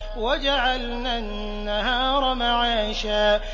وَجَعَلْنَا النَّهَارَ مَعَاشًا